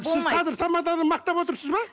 сіз қазір тамаданы мақтап отырсыз ба